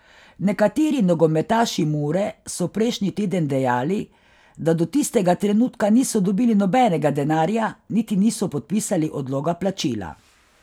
Nekateri nogometaši Mure so prejšnji teden dejali, da do tistega trenutka niso dobili nobenega denarja niti niso podpisali odloga plačila.